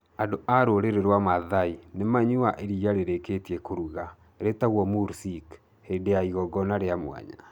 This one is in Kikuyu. Andũ a rũrĩrĩ rwa Maasai nĩ manyuaga iria rĩrĩkĩtie kũruga rĩtagwo mursik hĩndĩ ya igongona rĩa mwanya.